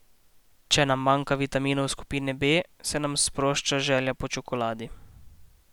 Če nam manjka vitaminov skupine B, se nam sprošča želja po čokoladi.